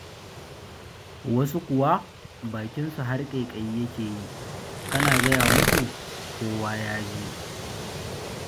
Wasu kuwa, bakinsu har ƙaiƙayi yake yi, kana gaya musu, kowa ya ji!